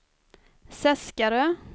Seskarö